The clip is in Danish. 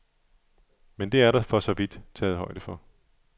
Men det er der for så vidt taget højde for.